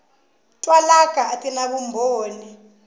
twalaka a ti na vumbhoni